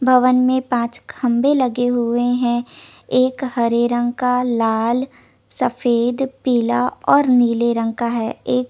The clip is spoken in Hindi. भवन में पांच खम्बे लगे हुए हैं एक हरे रंग का लाल सफ़ेद पीला और नीले रंग का हैं एक --